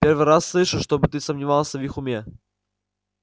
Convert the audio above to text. первый раз слышу чтобы ты сомневался в их уме